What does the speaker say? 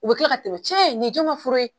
U bɛ kila ka tɛmɛn cɛ nin ye jon ka fura ye.